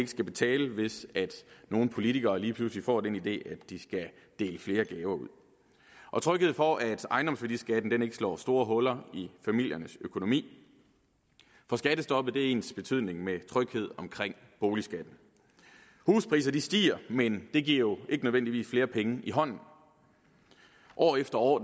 skal betale hvis nogle politikere lige pludselig får den idé at de skal dele flere gaver ud og tryghed for at ejendomsværdiskatten ikke slår store huller i familiernes økonomi for skattestoppet er ensbetydende med tryghed omkring boligskatten huspriser stiger men det giver jo ikke nødvendigvis flere penge i hånden år efter år